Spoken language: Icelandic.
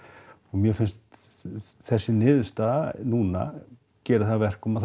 mér finnst þessi niðurstaða núna gera það að verkum að